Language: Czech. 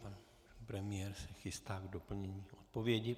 Pan premiér se chystá na doplnění odpovědi.